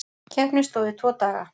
Keppni stóð í tvo daga.